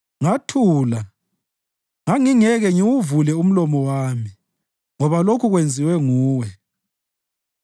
Ngathula; ngangingeke ngiwuvule umlomo wami, ngoba lokhu kwenziwe nguwe.